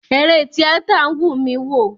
Eré tíátà wùn mi wò.